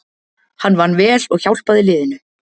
Hann vann vel og hjálpaði liðinu